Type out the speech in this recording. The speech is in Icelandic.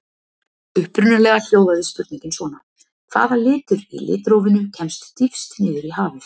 Upprunalega hljóðaði spurningin svona: Hvaða litur í litrófinu kemst dýpst niður í hafið?